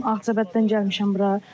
Ağcabəddən gəlmişəm bura.